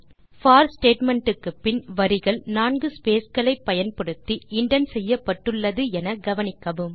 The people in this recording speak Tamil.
போர் ஸ்டேட்மெண்ட் க்குப்பின் வரிகள் 4 ஸ்பேஸ் களை பயன்படுத்தி இண்டென்ட் செய்யப்பட்டுள்ளது என கவனிக்கவும்